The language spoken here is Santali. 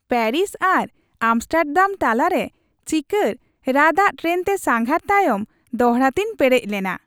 ᱯᱮᱹᱨᱤᱥ ᱟᱨ ᱟᱢᱥᱴᱟᱨᱰᱟᱢ ᱛᱟᱞᱟᱨᱮ ᱪᱤᱠᱟᱹᱲ, ᱨᱟᱫᱟᱜ ᱴᱨᱮᱱᱛᱮ ᱥᱟᱸᱜᱷᱟᱨ ᱛᱟᱭᱚᱢ ᱫᱰᱟᱲᱮᱛᱤᱧ ᱯᱮᱨᱮᱡ ᱞᱮᱱᱟ ᱾᱾